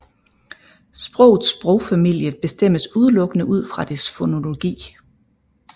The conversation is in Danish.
Sprogets sprogfamilie bestemmes udelukkende ud fra dets fonologi